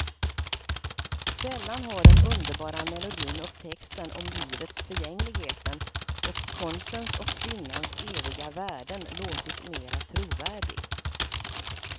Sällan har den underbara melodin och texten om livets förgängligheten och konstens och kvinnans eviga värden låtit mera trovärdig.